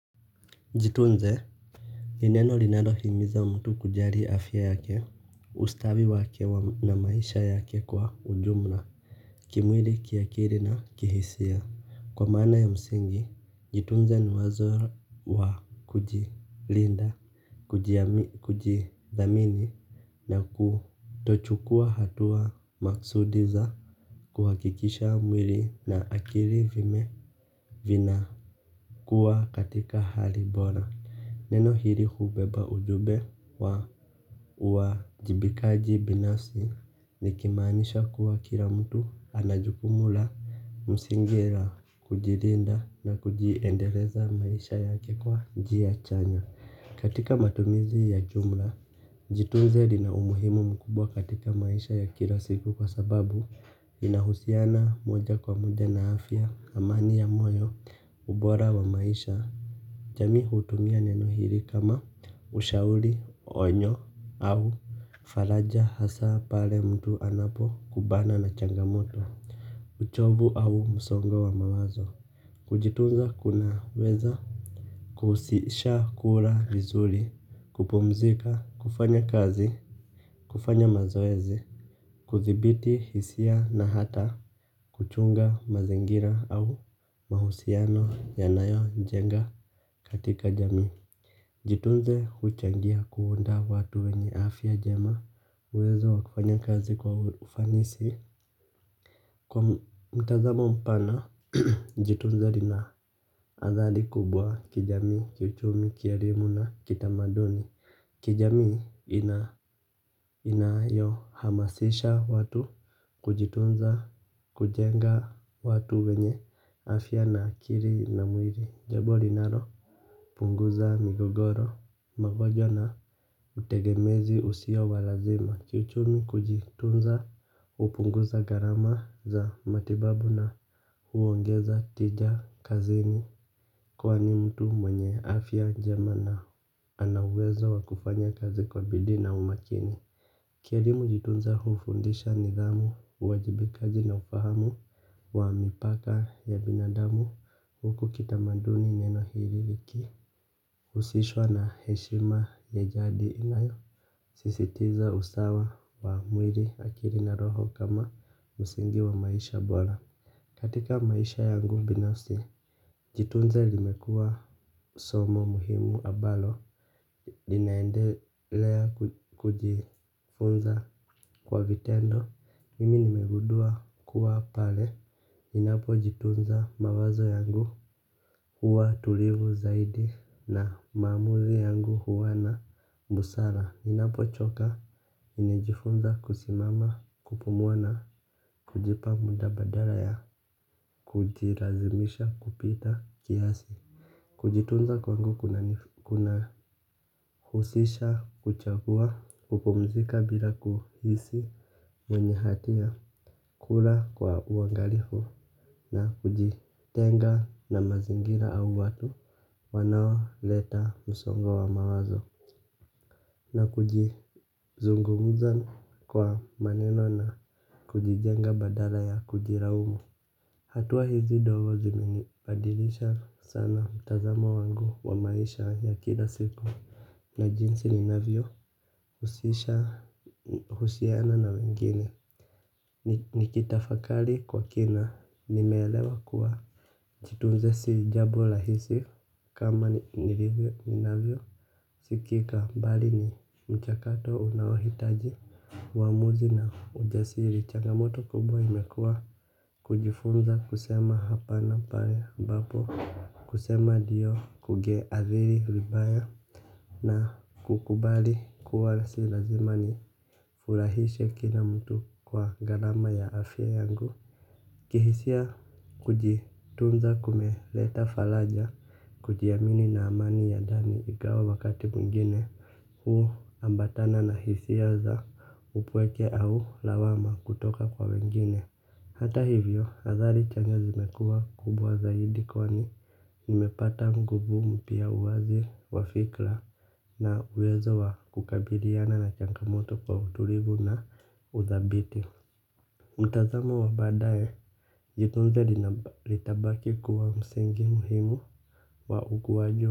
Jitunze. Ni neno linalo himiza mtu kujali afya yake. Ustawi wake na maisha yake kwa ujumla. Kimwili kiakili na kihisia. Kwa maana ya msingi jitunze ni wazo wa kujilinda kujidhamini na kutochukua hatua maksudi za kuhakikisha mwili na akili vina kuwa katika hali bora neno hili hubeba ujumbe wa uwajibikaji binafsi likimaanisha kuwa kila mtu anajukumu la msingi la kujilinda na kujiendeleza maisha yake kwa njia chanya. Katika matumizi ya jumla, jitunze lina umuhimu mkubwa katika maisha ya kila siku kwa sababu inahusiana moja kwa moja na afya amani ya moyo ubora wa maisha. Jamii hutumia neno hili kama ushauri onyo au faraja hasa pale mtu anapo kubana na changamoto. Uchovu au msongo wa mawazo. Kujitunza kunaweza kuhusisha kula vizuri, kupumzika, kufanya kazi, kufanya mazoezi. Kuthibiti hisia na hata kuchunga mazingira au mahusiano yanayo jenga katika jamii. Jitunze huchangia kuunda watu wenye afya njema uwezo wa kufanya kazi kwa ufanisi. Kwa mtazamo mpana, jitunze lina adhari kubwa kijamii, kiuchumi, kielimu na kitamaduni. Kijamii inayo hamasisha watu kujitunza kujenga watu wenye afya na akili na mwili jambo linalo punguza migogoro pamoja na utegemezi usio wa lazima kiuchumi kujitunza hupunguza gharama za matibabu na huongeza tija kazini kwani mtu mwenye afya njema na ana uwezo wakufanya kazi kwa bidii na umakini. Kielimu jitunza hufundisha nidhamu, uwajibikaji na ufahamu wa mipaka ya binadamu. Huku kitamanduni neno hili liki husishwa na heshima ya jadi inayo sisitiza usawa wa mwili akili na roho kama msingi wa maisha bora. Katika maisha yangu binafsi. Jitunze limekua somo muhimu ambalo ninaendelea kujifunza kwa vitendo. Mimi nimegundua kuwa pale ninapo jitunza mawazo yangu huwa tulivu zaidi na maamuzi yangu huwa na busara. Ninapo choka nimejifunza kusimama kupumuwa na kujipa muda badala ya kujilazimisha kupita kiasi. Kujitunza kwangu kuna husisha kuchagua kupumzika bila kuhisi mwenye hatia kula kwa uangalifu na kujitenga na mazingira au watu. Wanao leta msongo wa mawazo. Na kujizungumza kwa maneno na kujijenga badala ya kujilaumu. Hatua hizi ndogo ziminibadilisha sana mtazamo wangu wa maisha ya kila siku na jinsi ninavyo husisha husiana na wengine nikitafakari kwa kina, nimeelewa kuwa jitunze si jabo rahisi kama nilivyo ninavyo sikika mbali ni mchakato unaowahitaji uwamuzi na ujasiri changamoto kubwa imekuwa. Kujifunza kusema hapa na pale ambapo kusema ndio kugeadhiri vibaya na kukubali kuwa sio lazima ni furahishe kila mtu kwa gharama ya afya yangu. Kihisia kujitunza kumeleta faraja. Kujiamini na amani ya ndani ingawa wakati mwingine huambatana na hisia za upweke au lawama kutoka kwa wengine. Hata hivyo adhari changa zimekua kubwa zaidi kwani nimepata nguvu mpya uwazi wafikra. Na uwezo wa kukabiliana na changa moto kwa utulivu na udhabiti. Mtazamo wa baadaye jitunze litabaki kuwa msingi muhimu wa ukuwaji.